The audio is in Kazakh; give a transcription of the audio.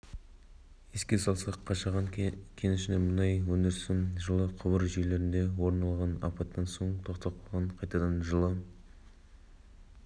еске салсақ қашаған кенішінде мұнай өндірісі жылы құбыр жүйлерінде орын алған апаттан соң тоқтап қайтадан жылы